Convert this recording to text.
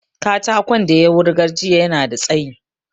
Katakon da ya wurgar jiya yana da tsayi